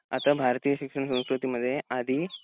आता भारतीय शिक्षण संस्कृती मध्ये आधी